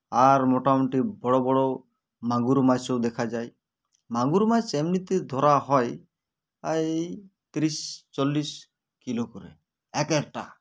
আর মোটামুটি বড়ো বড়ো মাগুর মাছও দেখা যায় মাগুর মাছ এমনিতে ধরা হয় এই ত্রিশ চল্লিশ kilo করে এক একটা